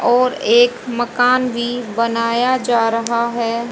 और एक मकान भी बनाया जा रहा है।